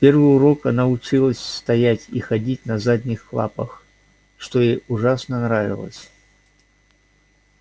в первый урок она училась стоять и ходить на задних лапах что ей ужасно нравилось